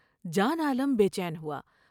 جان عالم بے چین ہوا ۔